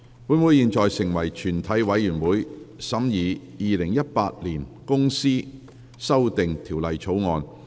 本會現在成為全體委員會，審議《2018年公司條例草案》。